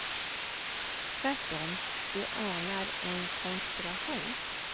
Tvärtom, de anar en konspiration.